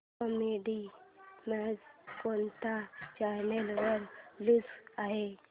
kabaddi match कोणत्या channel वर चालू आहे